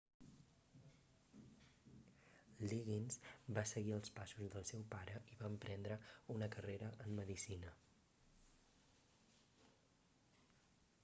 liggins va seguir els passos del seu pare i va emprendre una carrera en medicina